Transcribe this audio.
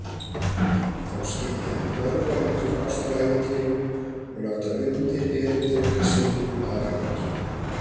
Þá skyldi hann hörfa út úr ástarævintýrinu og láta undir-erindreka sinn um afganginn.